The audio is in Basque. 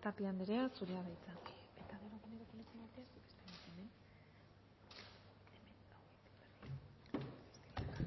tapia anderea zurea da hitza